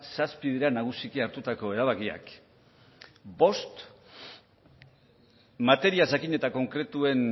zazpi dira nagusiki hartutako erabakiak bost materia jakin eta konkretuen